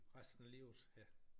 Resten af livet ja